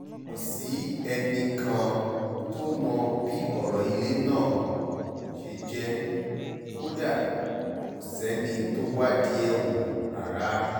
kò sẹ́nì kan tó mọ bí ọ̀rọ̀ ilé náà ṣe jẹ́ kódà kò sẹ́ni tó wádìí ẹ̀ wò rárá